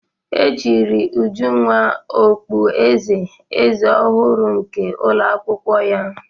E chiri Ujunwa okpueze eze ọhụrụ nke ụlọ akwụkwọ ya.